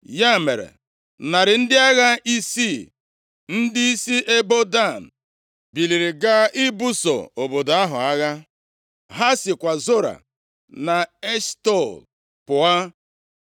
Ya mere, narị ndị agha isii ndị si nʼebo Dan biliri gaa ibuso obodo ahụ agha. Ha sikwa Zora na Eshtaol pụọ.